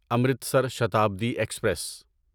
Amritsar Shatabdi express